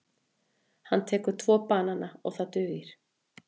Hann tekur tvo banana og það dugir.